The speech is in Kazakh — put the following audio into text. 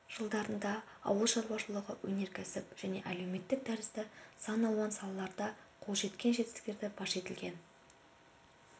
жылдарында ауыл шаруашылығы өнеркәсіп және әлеуметтік тәрізді сан алуан салаларда қол жеткен жетістіктері паш етілген